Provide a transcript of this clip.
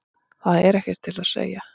Það er ekkert til að segja.